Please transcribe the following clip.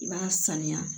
I b'a saniya